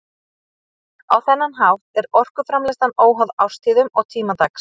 Á þennan hátt er orkuframleiðslan óháð árstíðum og tíma dags.